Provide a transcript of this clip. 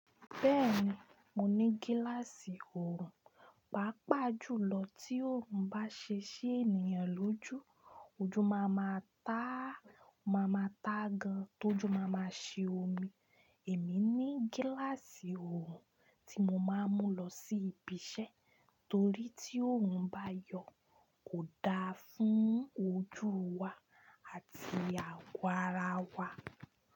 Bẹ́ẹ̀ni, mo ní gíláàsì òòrùn. Pàápàá jùlọ tí òòrùn bá ṣe ṣi ènìyàn lójú, ojú máa ma ta gan, tójú máa máa ṣe omi. Èmi ní gíláàsì òòrùn tí mo máa ń mú lọ sí ibi iṣẹ́ torí tí òòrùn bá yọ kò da fún ojú wa àti àgọ́ ara wa.